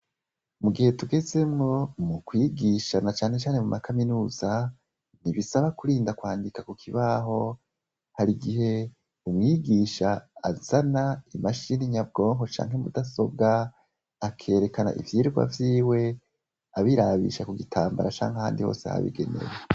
Mugihe tugezemwo mu kwigisha na cane cane muma kaminuza ntibisaba kurinda kwandika kukibaho harigihe umwigisha azana imashini nyabwonko canke mudasobwa akerekana ivyigwa vyiwe abirabisha kugitambara canke ahandi hose habigenewe.